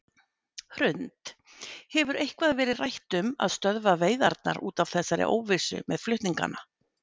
Hrund: Hefur eitthvað verið rætt um að stöðva veiðarnar út af þessari óvissu með flutningana?